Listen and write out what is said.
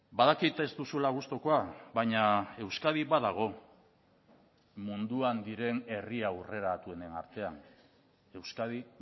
badakit ez duzula gustukoa baina euskadi badago munduan diren herri aurreratuenen artean euskadi